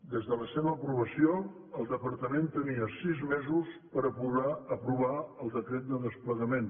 des de la seva aprovació el departament tenia sis mesos per aprovar el decret de desplegament